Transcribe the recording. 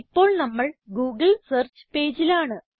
ഇപ്പോൾ നമ്മൾ Google search പേജിലാണ്